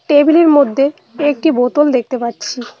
Table -এর মধ্যে একটি বোতল দেখতে পাচ্ছি।